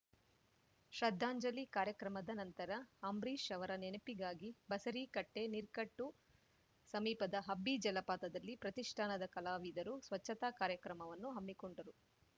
ಶ್ರದ್ಧಾಂಜಲಿ ಕಾರ್ಯಕ್ರಮದ ನಂತರ ಅಂಬರೀಷ್‌ ಅವರ ನೆನಪಿಗಾಗಿ ಬಸರೀಕಟ್ಟೆನೀರ್‌ಕಟ್ಟು ಸಮೀಪದ ಹಬ್ಬಿ ಜಲಪಾತದಲ್ಲಿ ಪ್ರತಿಷ್ಠಾನದ ಕಲಾವಿದರು ಸ್ವಚ್ಚತಾ ಕಾರ್ಯಕ್ರಮವನ್ನು ಹಮ್ಮಿಕೊಂಡರು